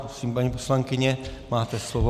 Prosím, paní poslankyně, máte slovo.